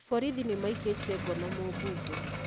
Borithi nĩ maikĩtie ngono mũmbunge